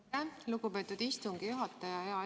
Aitäh, lugupeetud istungi juhataja!